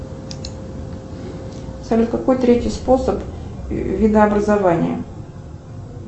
салют какой третий способ видообразования